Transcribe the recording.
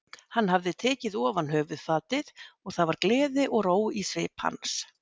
Hann hafði tekið ofan höfuðfatið og það var gleði og ró í svip hans.